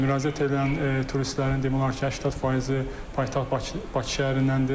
Müraciət edən turistlərin demək olar ki, 80 faizi paytaxt Bakı şəhərindəndir.